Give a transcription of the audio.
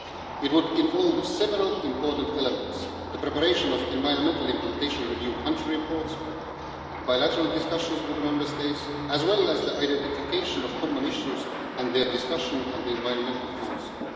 It would involve several important elements the preparation of environmental implementation review country reports and bilateral discussions with the Member States, as well as the identification of common issues and their discussion in the Environmental Council.